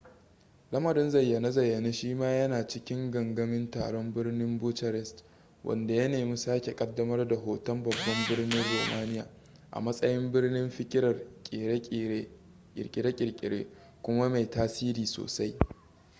lamarin zayyane-zayyane shi ma yana cikin gangamin taron birnin bucharest wanda ya nemi sake kaddamar da hoton babban birnin romania a matsayin birnin fikirar kirkire-kirkire kuma mai tasiri sosai